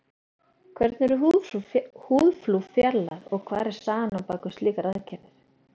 hvernig eru húðflúr fjarlægð og hver er sagan á bak við slíkar aðgerðir